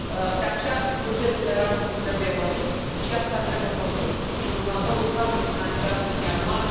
De aceea, bugetul Erasmus trebuie mărit și asta trebuie făcut din următorul cadru financiar multianual